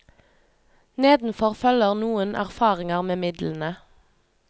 Nedenfor følger noen erfaringe med midlene.